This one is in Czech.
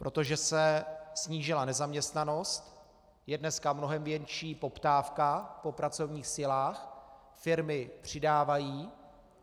Protože se snížila nezaměstnanost, je dneska mnohem větší poptávka po pracovních silách, firmy přidávají.